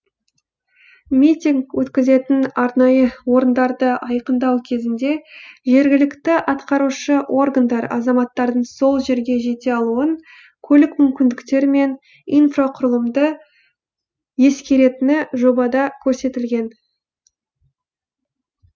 митинг өткізетін арнайы орындарды айқындау кезінде жергілікті атқарушы органдар азаматтардың сол жерге жете алуын көлік мүмкіндіктері мен инфрақұрылымды ескеретіні жобада көрсетілген